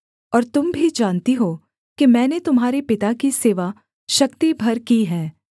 और तुम भी जानती हो कि मैंने तुम्हारे पिता की सेवा शक्ति भर की है